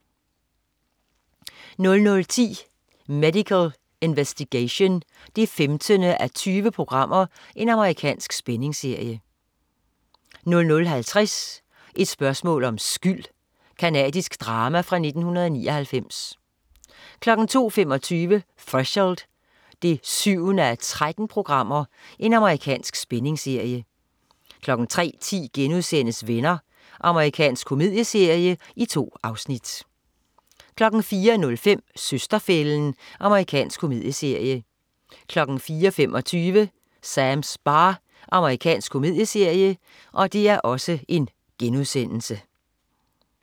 00.10 Medical Investigation 15:20. Amerikansk spændingsserie 00.50 Et spørgsmål om skyld. Canadisk drama fra 1999 02.25 Threshold 7:13. Amerikansk spændingsserie 03.10 Venner.* Amerikansk komedieserie. 2 afsnit 04.05 Søster-fælden. Amerikansk komedieserie 04.25 Sams bar. Amerikansk komedieserie